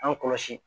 An kɔlɔsi